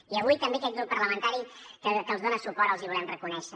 i avui també aquest grup parlamentari que els dona suport els hi volem reconèixer